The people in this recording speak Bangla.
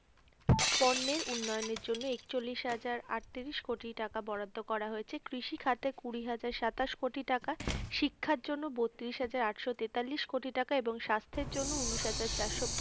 পণ্যের উন্নয়নের জন্য একচল্লিশ হাজার আটত্রিশ কোটি টাকা বরাদ্দ করা হয়েছে। কৃষিখাতে কুড়ি হাজার সাতাশ কোটি টাকা, শিক্ষার জন্য বত্রিশ হাজার আটশো তেতাল্লিশ কোটি টাকা এবং স্বাস্থ্যের জন্য ঊনিশ হাজার চারশো,